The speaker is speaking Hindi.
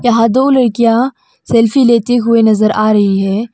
वहां दो लड़कियां सेल्फी लेते हुए नजर आ रही है।